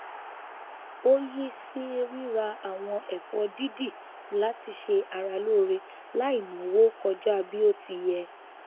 ó yí sí ríra àwọn ẹfọ dídì láti ṣe ara lóore láì náwó kọjá bí ó ti yẹ